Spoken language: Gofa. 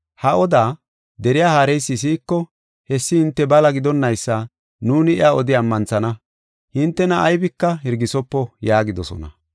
Ha odaa deriya haareysi si7iko, hessi hinte bala gidonnaysa nuuni iya odi ammanthana. Hintena aybika Hirgisopo” yaagidosona.